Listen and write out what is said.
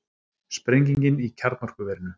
Sprengingin í kjarnorkuverinu